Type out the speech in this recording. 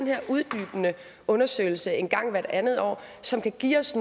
her uddybende undersøgelse en gang hvert anden år som kan give os